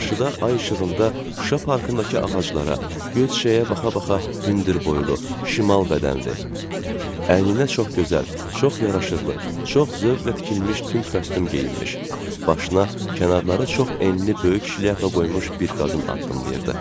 Qarşıda ay işığında Şuşa parkındakı ağaclara göz çiçəyə baxa-baxa hündürboylu, şimal bədənli, əyninə çox gözəl, çox yaraşıqlı, çox zövqlə tikilmiş tünd kostyum geyinmiş, başına kənarları çox enli böyük şlyapa qoymuş bir qadın addımlayırdı.